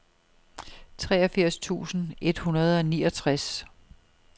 treogfirs tusind et hundrede og niogtres